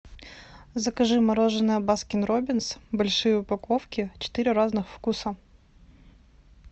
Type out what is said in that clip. закажи мороженое баскин робинс большие упаковки четыре разных вкуса